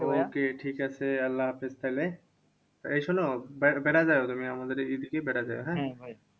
okay ঠিকাছে আল্লা হাফিজ তাহলে। এই শোনো বে~ বেড়া যাওয়া তুমি আমাদের এদিকেই বেড়া যাওয়া হ্যাঁ?